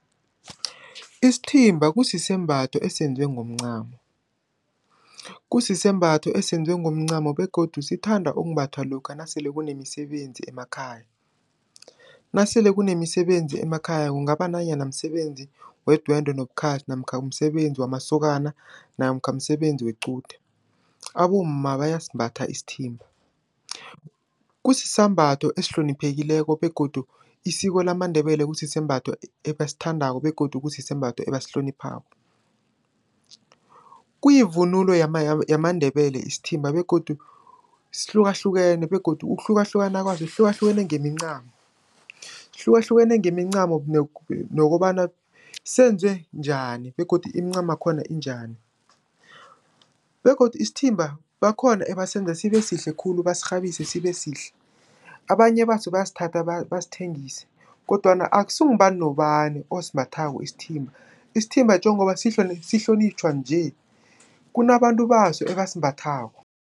Isithimba kusisembatho esenziwe ngomncamo. Kusisembatho esenziwe ngomncamo begodu sithanda ukumbathwa lokha nasele kunemisebenzi emakhaya. Nasele kunemisebenzi emakhaya, kungaba nanyana msebenzi wedwendwe nobukhazi namkha umsebenzi wamasokana namkha msebenzi wequde. Abomma bayasimbatha isithimba. Kusisambatho ehloniphekileko begodu isiko lamaNdebele kusisembatho ebasithandako begodu kusisembatho ebasihloniphako. Kuyivunulo yamaNdebele isithimba begodu sihlukahlukene begodu ngokuhlukahlukana kwaso sihlukahlukene ngemincamo. Sihlukahlukene ngemincamo nokobana senziwe njani begodu iimcamakhona injani begodu isithimba bakhona ebasenza sibesihle khulu bazirhabise sibesihle. Abanye baso bayasithatha basithengise kodwana akusingubani nobani osimbathako isithimba. Isithimba njengoba sihlonitjhwa nje, kunabantu baso abasimbathako.